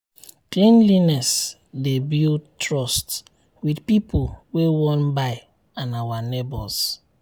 cleanliness dey build trust with people wey wan buy and our neighbors.